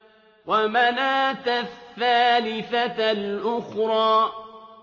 وَمَنَاةَ الثَّالِثَةَ الْأُخْرَىٰ